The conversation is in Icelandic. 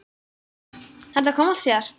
Þetta kom allt síðar.